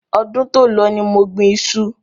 Ọdún to lọ ní mo gbìn iṣu